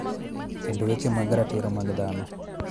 Kendo weche mag ratiro mag dhano.